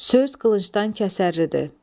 Söz qılıncdan kəsərlidir.